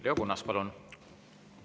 Leo Kunnas, palun!